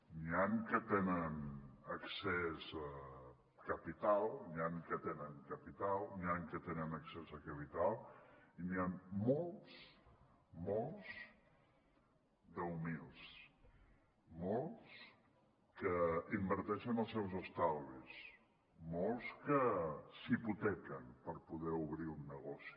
n’hi han que tenen capital n’hi han que tenen accés a capital i n’hi han molts molts d’humils molts que inverteixen els seus estalvis molts que s’hipotequen per poder obrir un negoci